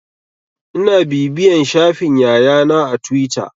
Ina bibiyan shafin Yaya na a tuwita.